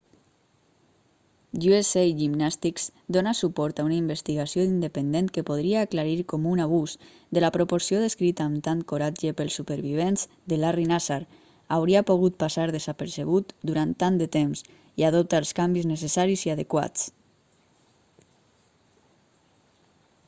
usa gymnastics dóna suport a una investigació independent que podria aclarir com un abús de la proporció descrita amb tant coratge pels supervivents de larry nassar hauria pogut passar desapercebut durant tant de temps i adopta els canvis necessaris i adequats